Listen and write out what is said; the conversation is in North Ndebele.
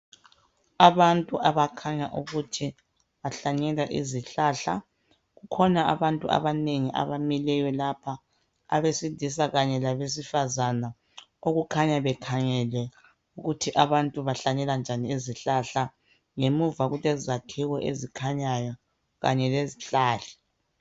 Abantu abakhanya ukuthi bahlanyela izihlahla kukhona abantu abanengi abamileyo lapha abesilisa kanye labesifazana okukhanya bekhangele ukuthi abantu bahlanyela njani izihlahla ngemuva kulezakhiwo ezikhanyayo kanye lezihlahla.